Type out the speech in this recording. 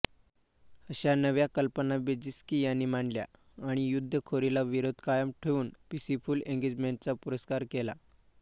अश्या नव्या कल्पना ब्रेझिन्स्की यांनी मांडल्या आणि युद्धखोरीला विरोध कायम ठेवून पीसफुल एंगेजमेंटचा पुरस्कार केला